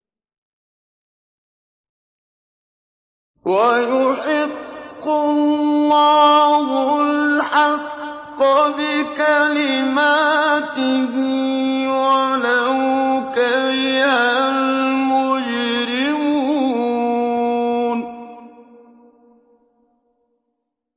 وَيُحِقُّ اللَّهُ الْحَقَّ بِكَلِمَاتِهِ وَلَوْ كَرِهَ الْمُجْرِمُونَ